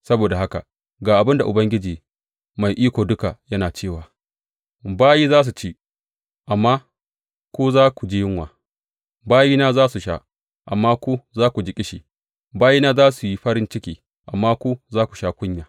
Saboda haka ga abin da Ubangiji Mai Iko Duka yana cewa, Bayin za su ci, amma ku za ku ji yunwa; bayina za su sha, amma ku za ku ji ƙishi; bayina za su yi farin ciki amma ku za ku sha kunya.